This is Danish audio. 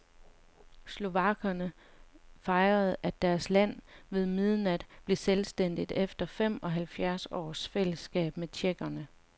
Slovakkerne fejrede, at deres land ved midnat blev selvstændigt efter femoghalvfjerds års fællesstat med tjekkerne.